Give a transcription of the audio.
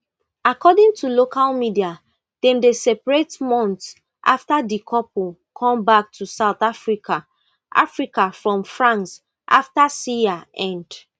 according to local media dem dey separate months afta di couple comeback to south africa africa from france afta siya end